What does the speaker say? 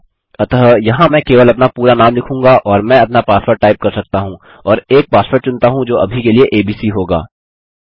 अतः यहाँ मैं केवल अपना पूरा नाम लिखूँगा और मैं अपना पासवर्ड टाइप कर सकता हूँ और एक पासवर्ड चुनता हूँ जो अभी के लिए एबीसी होगा